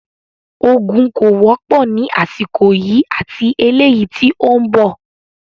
Ogún kó wọ́pọ̀ ní àsìkò yìí ati eleyii tí ó ń bọ̀